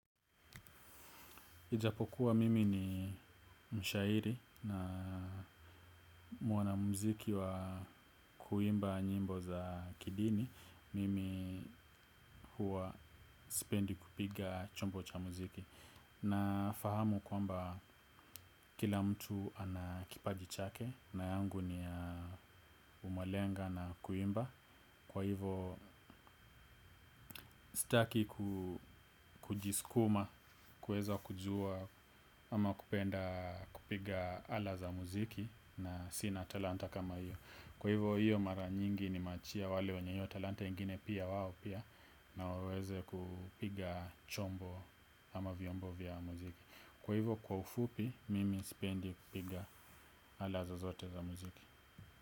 Ijapokuwa mimi ni mshairi na mwana muziki wa kuimba nyimbo za kidini, mimi huwa sipendi kupiga chombo cha muziki. Nafahamu kwamba kila mtu ana kipaji chake na yangu ni ya umalenga na kuimba. Kwa hivyo sitaku ku kujiskuma, kweza kujua ama kupenda kupiga ala za muziki na sina talanta kama hiyo. Kwa hivo hiyo mara nyingi nimeachia wale wenye hiyo talanta ingine pia wao pia na waweze kupiga chombo ama vyombo vya muziki. Kwa hivo kwa ufupi mimi spendi kupiga ala zozote za muziki.